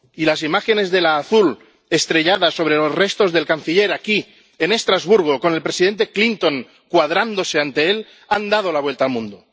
Y las imágenes de la azul estrellada sobre los restos del canciller, aquí, en Estrasburgo, con el presidente Clinton cuadrándose ante él, han dado la vuelta al mundo.